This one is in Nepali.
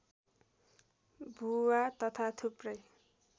भुवा तथा थुप्रै